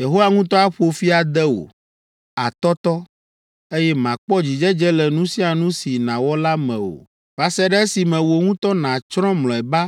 “Yehowa ŋutɔ aƒo fi ade wò; àtɔtɔ, eye màkpɔ dzidzedze le nu sia nu si nàwɔ la me o va se ɖe esime wò ŋutɔ nàtsrɔ̃ mlɔeba